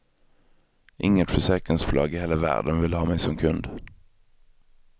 Inget försäkringsbolag i hela världen vill ha mig som kund.